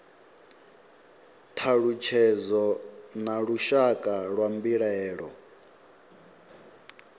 thalutshedzo na lushaka lwa mbilaelo